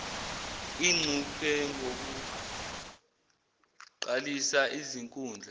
ingcuphe ngokuqalisa izinkundla